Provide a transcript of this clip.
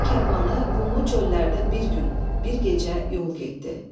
Dəvə karvanı qumlu çöllərdə bir gün, bir gecə yol getdi.